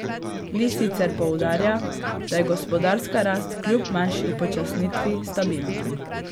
Li sicer poudarja, da je gospodarska rast kljub manjši upočasnitvi stabilna.